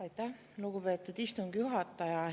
Aitäh, lugupeetud istungi juhataja!